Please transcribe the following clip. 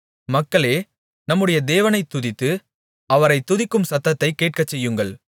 மக்களே நம்முடைய தேவனைத் துதித்து அவரைத் துதிக்கும் சத்தத்தைக் கேட்கச்செய்யுங்கள்